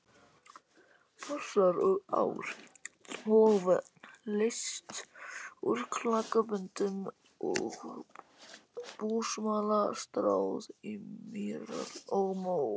Fossar og ár og vötn leyst úr klakaböndum og búsmala stráð í mýrar og mó.